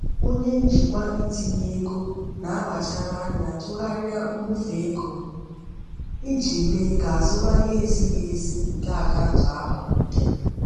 Onye njikwa itinye ego na-akpachara anya tụgharịa mbufe ego iji mee ka azụmahịa ezighi ezi nke akaụntụ ahụ dị.